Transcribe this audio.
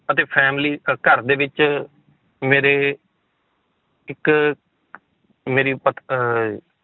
ਅਤੇ family ਅਹ ਘਰ ਦੇ ਵਿੱਚ ਮੇਰੇ ਇੱਕ ਮੇਰੀ ਪਤ~ ਅਹ